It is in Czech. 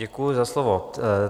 Děkuju za slovo.